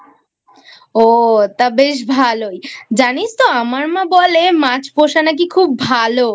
ও তা বেশ ভালোই জানিস তো আমার মা বলে মাছ পোষা নাকি খুব ভালো